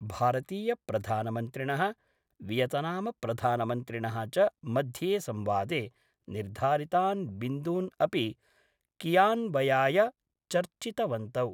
भारतीयप्रधानमन्त्रिणः Vietnam प्रधानमन्त्रिणः च मध्ये संवादे निर्धारितान् बिन्दून् अपि क्रियान्वयनाय चर्चितवन्तौ।